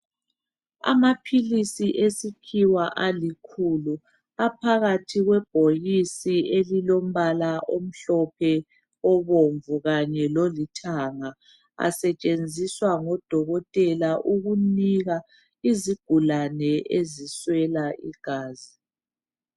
Amaphilisi esikhiwa alikhulu aphakathi kwebhokisi elilombala omhlophe, obomvu, kanye lolithanga asetshenziswa ngudokotela ukunika izigulane eziswela igazi.